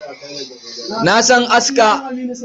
Na san aska.